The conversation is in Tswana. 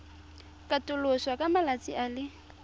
katoloswa ka malatsi a le